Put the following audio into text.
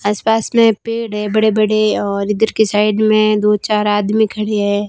आस पास में पेड़ है बड़े बड़े और इधर के साइड में दो चार आदमी खड़े है।